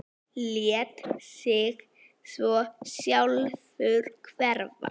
Lét sig svo sjálfur hverfa.